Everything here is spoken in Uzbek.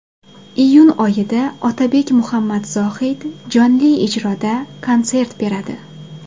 Iyun oyida Otabek Muhammadzohid jonli ijroda konsert beradi.